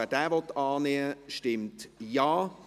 Wer diesen annehmen will, stimmt Ja,